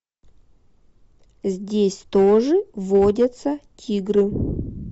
здесь тоже водятся тигры